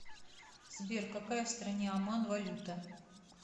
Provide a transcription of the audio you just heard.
сбер какая в стране оман валюта